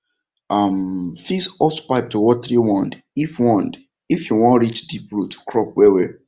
um fix hosepipe to watering wand if wand if you wan reach deep root crops well well